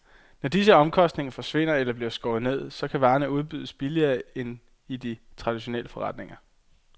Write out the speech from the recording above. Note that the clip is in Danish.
Når disse omkostninger forsvinder eller bliver skåret ned, så kan varerne udbydes billigere end i de traditionelle forretninger.